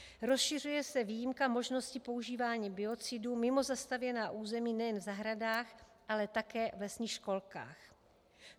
Rozšiřuje se výjimka možnosti používání biocidů mimo zastavěná území nejen v zahradách, ale také v lesních školkách.